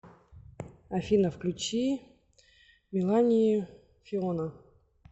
афина включи мелани фиона